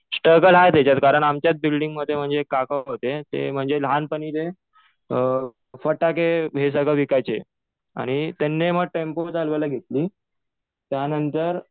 Struggle आहे त्याच्यात. कारण आमच्या बिल्डिंगमध्ये म्हणजे एक काका होते. ते म्हणजे लहानपणी ते फटाके हे सगळं विकायचे. आणि त्यांनी मग टेम्पो चालवायला घेतली. त्यानंतर